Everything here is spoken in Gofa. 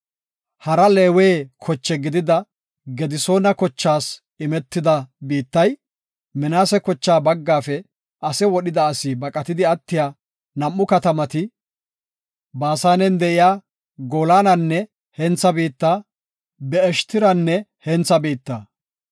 Hara Leewe koche gidida Gedisoona kochaas imetida biittay, Minaase kocha baggaafe ase wodhida asi baqatidi attiya nam7u katamati, Baasanen de7iya Goolananne hentha biitta, Be7eshtiranne hentha biitta.